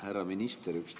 Härra minister!